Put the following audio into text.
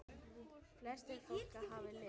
Flestir flókar hafa lit.